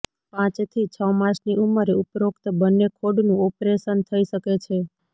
પાંચ થી છ માસની ઉંમરે ઉપરોક્ત બંને ખોડનું ઓપરેશન થઈ શકે છે